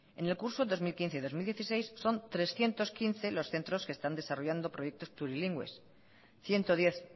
en el curso dos mil quince dos mil dieciséis son trescientos quince los centros que están desarrollando proyectos plurilingües ciento diez